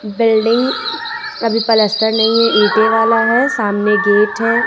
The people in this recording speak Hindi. बिल्डिंग अभी पलस्तर नहीं है ईंटे वाला है सामने गेट है।